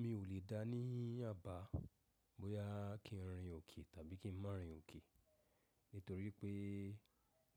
Mi ò lè dáa ní àbá bóyá kí n rìn òkè tàbí kí n má rìn òkè nítorí pé